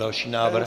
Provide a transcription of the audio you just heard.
Další návrh.